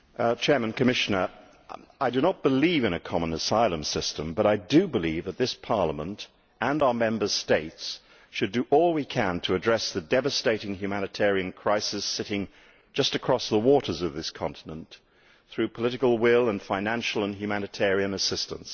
Mr President, I do not believe in a common asylum system, but I do believe that this Parliament and our Member States should do all we can to address the devastating humanitarian crisis, sitting just across the waters of this continent, through political will and financial and humanitarian assistance.